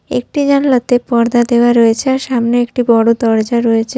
একটি জানলা তে পর্দা দেওয়া রয়েছে আর সামনে একটি বড় দরজা রয়েছে।